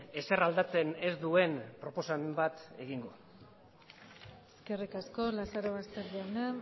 ezer aldatzen ez duen proposamen bat egingo eskerrik asko lazarobaster jauna